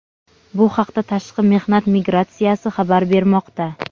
Bu haqda Tashqi mehnat migratsiyasi xabar bermoqda.